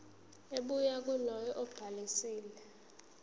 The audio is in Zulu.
ebuya kulowo obhalisile